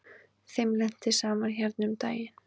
Þeim lenti saman hérna um daginn.